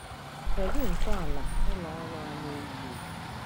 Kedụ ntọala ụlọ ọrụ a na-ewu ewu?